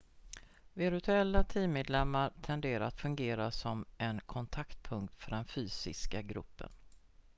virtuella teammedlemmar tenderar att fungera som en kontaktpunkt för den fysiska gruppen